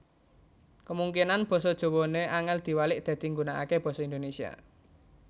Kemungkinan boso Jowone angel diwalik dadi nggunakake boso Indonesia